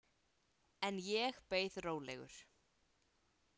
En ég beið rólegur.